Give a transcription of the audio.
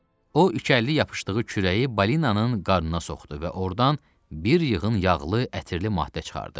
O ikəlli yapışdığı kürəyi balinanın qarnına soxdu və ordan bir yığın yağlı, ətirli maddə çıxardı.